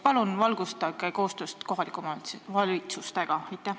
Palun valgustage meid, milline on koostöö kohalike omavalitsustega!